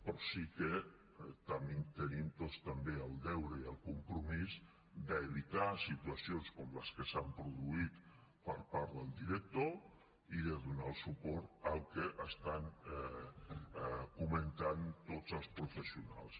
però sí que tenim tots també el deure i el compromís d’evitar situacions com les que s’han produït per part del director i de donar suport al que estan comentant tots els professionals